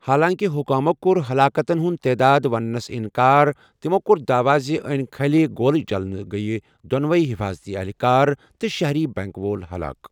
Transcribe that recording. حالانٛکہِ حُکامو کوٚر ہَلاکتن ہُنٛد تعداد ونٛنس اِنٛکار، تِمو کوٚر دعوا زِ ٲنہِ كھٕلہِ گولہِ چلنٕہٕ کِنہِ گٔیہٕ دونوے حفاضتی اہلکار تہٕ شہری بنك وول ہَلاک۔